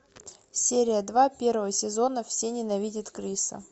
серия два первого сезона все ненавидят криса